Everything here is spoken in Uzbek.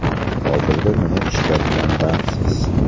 Hozirda nima ishlar bilan bandsiz?